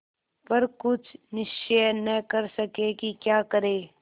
पर कुछ निश्चय न कर सके कि क्या करें